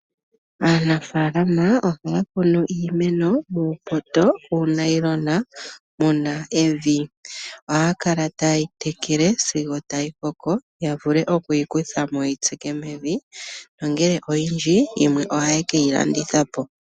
Aanafaalama ohaya kunu iimeno muupoto wuunayilona muna evi. Ohaya kala taye yitekele sigo tayi koko yavulu okuyikuthamo yeyi tsike mevi, nangele oyindji yimwe ohaye kayilandithapo.